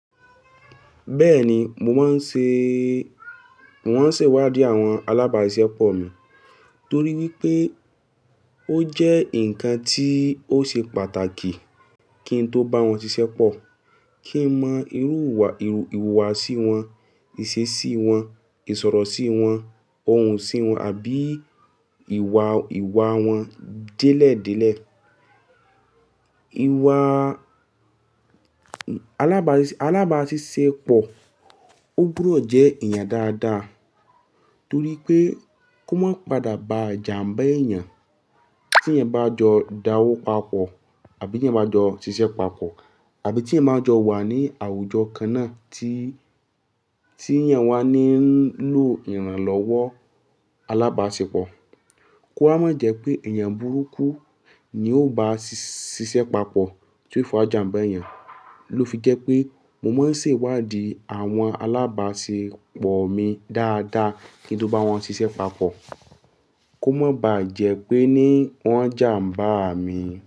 Bẹ́ẹ̀ni, mo máa ń ṣèwádìí àwọn alábàáṣiṣẹ́ pọ̀ mi torí wípé ó jẹ́ ǹkan tí ó ṣe pàtàkì kí ń tó bá wọn ṣiṣẹ́ pọ̀, kí ń mọ ìhùwàsí wọn, ìṣesí wọn, ìsọ̀rọ̀ sí wọn, ohùn sí wọn àbí ìwà wọn délẹ̀délẹ̀. Alábàáṣiṣẹ́ pọ̀ ó gbúdọ̀ jẹ́ èèyàn dáadáa torí pé kó má pàdà bá jàmbá èèyàn tí ẹ̀ ń bá jọ dáwọ́ papọ̀ àbí tí ẹ̀ ń bá jọ ṣiṣẹ́ papọ̀ àbí tí ẹ̀ máa jọ wà ní àwùjọ kan náà tí yàń wà ní ń lo ìrànlọ́wọ́ alábàáṣepọ̀. Kó má jẹ́ pé èèyàn burúkú ni ó bá ṣiṣẹ́ papọ̀ torí fún àjànbá èèyàn. Lo fi jẹ́ pé mo máa ń ṣèwádìí àwọn alábàáṣẹ́ pọ̀ mi dáadáa kí n tó bá wọn ṣiṣẹ́ papọ̀ kó má bá jẹ́ pé ní wọ́n jàmbá à mi.